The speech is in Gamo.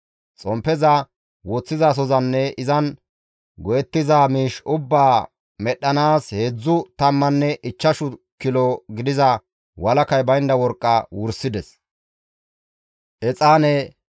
Xomppeza woththizasozanne izan go7ettiza miish ubbaa medhdhanaas heedzdzu tammanne ichchash kilo gidiza walakay baynda worqqa wursides.